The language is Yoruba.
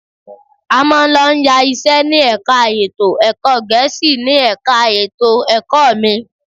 A máa ń lọ yá iṣẹ́ ní ẹ̀ka ètò ẹ̀kọ́ Gẹ̀ẹ́sì ni ẹ̀ka ètò ẹ̀kọ́ mi